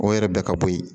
O yɛrɛ bila ka bɔ yen